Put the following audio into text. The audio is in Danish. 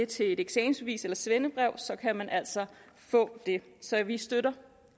til et eksamensbevis eller svendebrev kan man altså få det så vi støtter